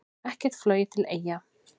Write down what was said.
Ekkert flogið til Eyja